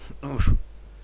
нужен